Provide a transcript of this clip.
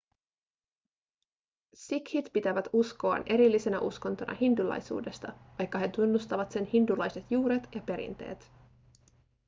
sikhit pitävät uskoaan erillisenä uskontona hindulaisuudesta vaikka he tunnustavat sen hindulaiset juuret ja perinteet